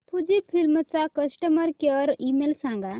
Fujifilm चा customer care email सांगा